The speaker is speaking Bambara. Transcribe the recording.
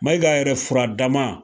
Mayiga yɛrɛ fura dama